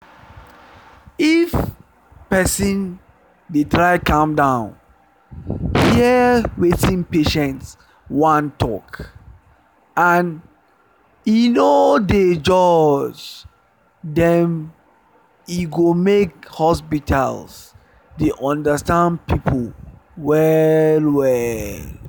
if person dey try calm down hear wetin patient wan talk and e no dey judge them e go make hospitals dey understand people well well